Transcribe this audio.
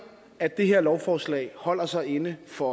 at det her lovforslag holder sig inden for